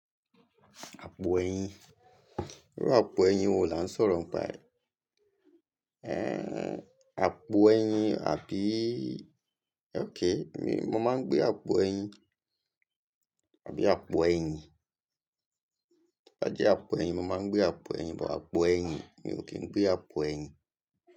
Àpò ẹ̀yìn. Rárá àpò ẹ̀yìn wo la ń sọ̀rọ̀ ń pa ẹ̀? Eh àpò ẹ̀yìn àbíí? Okay, mi, mo máa ń gbé àpò ẹ̀yìn. Àbí àpò ẹ̀yìn? Tóbá jẹ́ àpo ẹyin, mo máa ń gbé àpo ẹyin, but àpo ẹyìn. Mo kì í ń gbé àpo ẹ̀yìn.